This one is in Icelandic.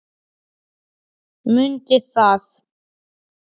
Mundi það.